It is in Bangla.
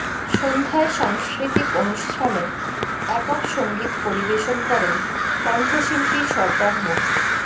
সন্ধ্যায় সাংস্কৃতিক অনুষ্ঠানে একক সঙ্গীত পরিবেশন করেন কণ্ঠশিল্পী সরদার মো